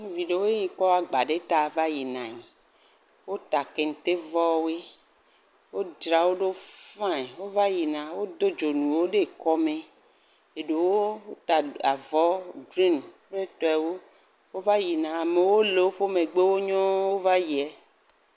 Ɖevi ɖewoe nye ya kɔ agba va yina. Wota kentevɔwoe. Wodzrawo ɖo faiŋ wova yina. Wodo dzonuwo ɖe kɔme. Eɖewo wota avɔwo grini kple etɔewo. Wova yina. Amewo le woƒe megbewo nyɔɔ wova yiɛ